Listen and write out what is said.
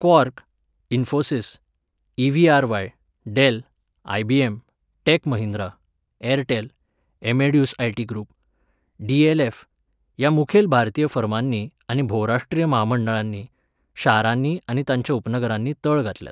Quark, Infosys, EVRY., Dell, IBM., Tech Mahindra, Airtel, Amadeus IT. Group, DLF. ह्या मुखेल भारतीय फर्मांनी आनी भोवराष्ट्रीय म्हामंडळांनी शारांनी आनी तांच्या उपनगरांनी तळ घातल्यात.